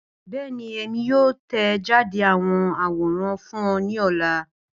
Bẹẹni, Emi yoo tẹjade awọn aworan fun ọ ni ọla.